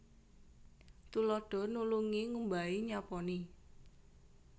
Tuladha nulungi ngumbahi nyaponi